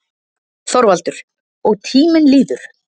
ÞORVALDUR: Og tíminn líður.